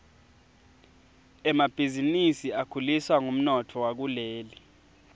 emabhizinisi akhuliswa ngumnotfo wakuleli